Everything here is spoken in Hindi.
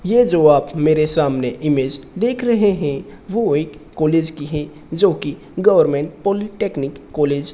ये जो आप मेरे सामने इमेज़ देख रहे हैं वो एक कॉलेज की है जो की गवर्नमेंट पॉलिटेक्निक कॉलेज --